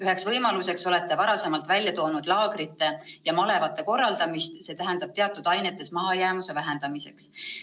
Üheks võimaluseks olete varasemalt välja toonud laagrite ja malevate korraldamist teatud ainetes mahajäämuse vähendamiseks.